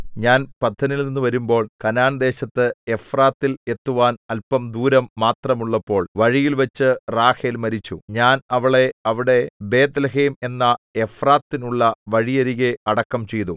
ഞാൻ പദ്ദനിൽനിന്നു വരുമ്പോൾ കനാൻദേശത്ത് എഫ്രാത്തിൽ എത്തുവാൻ അല്പം ദൂരം മാത്രമുള്ളപ്പോൾ വഴിയിൽവച്ചു റാഹേൽ മരിച്ചു ഞാൻ അവളെ അവിടെ ബേത്ത്ലേഹേം എന്ന എഫ്രാത്തിനുള്ള വഴിയരികെ അടക്കം ചെയ്തു